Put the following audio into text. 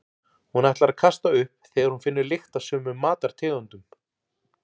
Hún ætlar að kasta upp þegar hún finnur lykt af sumum matartegundum.